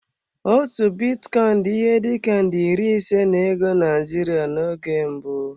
Otu bitcoin dị ihe dị ka nde iri ise na ego Naijiria n'oge mbụ.